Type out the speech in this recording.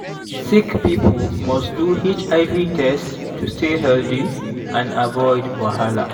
sick people must do hiv test to stay healthy and avoid wahala.